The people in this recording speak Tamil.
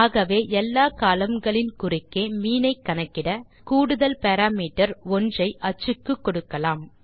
ஆகவே எல்லா கோலம்ன் களின் குறுக்கே மீன் ஐ கணக்கிட நாம் கூடுதல் பாராமீட்டர் 1 ஐ அச்சுக்கு கொடுக்கலாம்